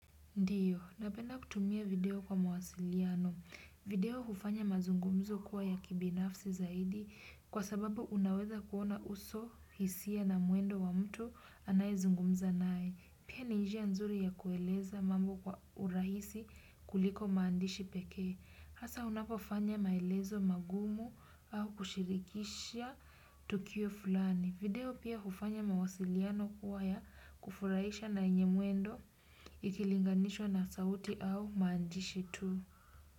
Ndiyo, napenda kutumia video kwa mawasiliano. Video hufanya mazungumzo kuwa ya kibinafsi zaidi kwa sababu unaweza kuona uso hisia na mwendo wa mtu anayezungumza nae. Pia ni njia nzuri ya kueleza mambo kwa urahisi kuliko maandishi pekee. Hasa unapofanya maelezo magumu au kushirikisha tukio fulani. Video pia hufanya mawasiliano kuwa ya kufurahisha na yenye mwendo ikilinganishwa na sauti au maandishi tu.